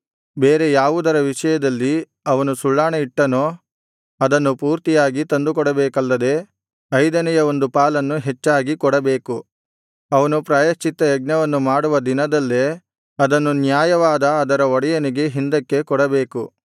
ಬೇರೆ ಯಾವುದರ ವಿಷಯದಲ್ಲಿ ಅವನು ಸುಳ್ಳಾಣೆಯಿಟ್ಟನೋ ಅದನ್ನು ಪೂರ್ತಿಯಾಗಿ ತಂದುಕೊಡಬೇಕಲ್ಲದೆ ಐದನೆಯ ಒಂದು ಪಾಲನ್ನು ಹೆಚ್ಚಾಗಿ ಕೊಡಬೇಕು ಅವನು ಪ್ರಾಯಶ್ಚಿತ್ತಯಜ್ಞವನ್ನು ಮಾಡುವ ದಿನದಲ್ಲೇ ಅದನ್ನು ನ್ಯಾಯವಾದ ಅದರ ಒಡೆಯನಿಗೆ ಹಿಂದಕ್ಕೆ ಕೊಡಬೇಕು